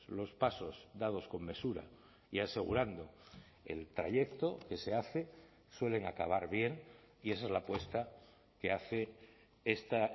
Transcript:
los pasos dados con mesura y asegurando el trayecto que se hace suelen acabar bien y esa es la apuesta que hace esta